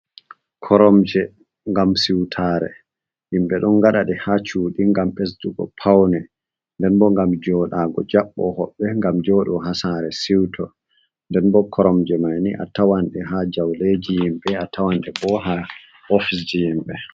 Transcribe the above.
Koromje ngam siutare himɓe ɗon gaɗaɗ ha cuɗi ngam ɓesdugo paune, nden bo ngam joɗago jaɓɓo hoɓɓe, ngam joɗo ha sare siwto nden bo koromje manni a tawanɗe ha jauleji ƴimɓe, a tawanɗe bo ha ofisji ƴimɓe.